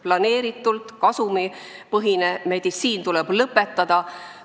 Planeeritult kasumipõhine meditsiin tuleb lõpetada.